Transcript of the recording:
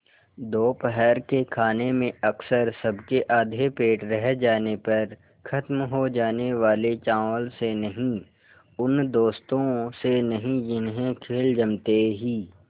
दोपहर के खाने में अक्सर सबके आधे पेट रह जाने पर ख़त्म हो जाने वाले चावल से नहीं उन दोस्तों से नहीं जिन्हें खेल जमते ही